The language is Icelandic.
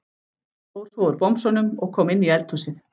Fór svo úr bomsunum og kom inn í eldhúsið.